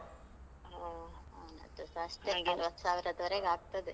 ಹ ಅವನದ್ದುಸ ಅಷ್ಟೇ ಅರ್ವತ್ತ್ ಸಾವ್ರದವರೆಗೆ ಆಗ್ತದೆ.